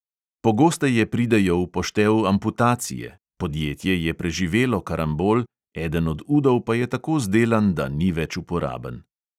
Pogosteje pridejo v poštev amputacije – podjetje je preživelo karambol, eden od udov pa je tako zdelan, da ni več uporaben.